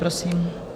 Prosím.